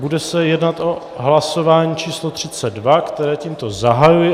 Bude se jednat o hlasování číslo 32, které tímto zahajuji.